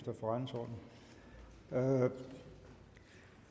nu var